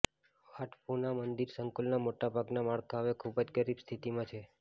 વાટ ફૂના મંદિર સંકુલના મોટાભાગના માળખાં હવે ખૂબ જ ગરીબ સ્થિતિમાં છે